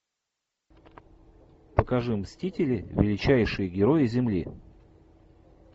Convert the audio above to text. покажи мстители величайшие герои земли